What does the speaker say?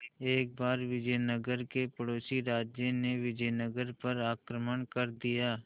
एक बार विजयनगर के पड़ोसी राज्य ने विजयनगर पर आक्रमण कर दिया